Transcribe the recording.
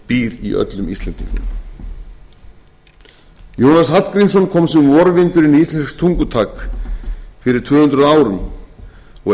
býr í öllum íslendingum jónas hallgrímsson kom sem vorvindur inn í íslenskt tungutak fyrir tvö hundruð árum og enn